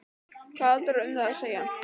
Hvað hafði Halldór um það að segja?